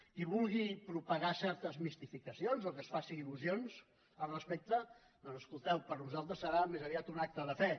qui vulgui propagar certes mistificacions o que es faci il·lusions al respecte doncs escolteu per nosaltres serà més aviat un acte de fe